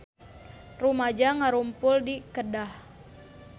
Rumaja ngarumpul di Kedah